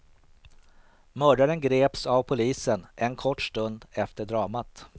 Mördaren greps av polisen en kort stund efter dramat.